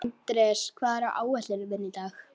Anders, hvað er á áætluninni minni í dag?